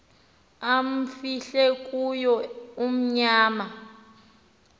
amfihle kuyo unyana